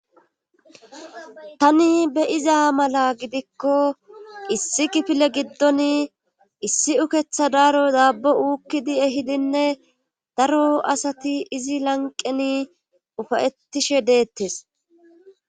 tani be'iza mala gidikko issi kifile giddon issi uketha daaro daabbo uukkidi ehidinne daro asati izi lanqeni ufayettishe deettes